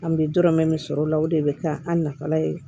An bɛ dɔrɔmɛ min sɔrɔ o la o de bɛ kɛ an nafala ye